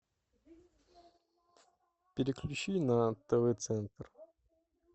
переключи на тв центр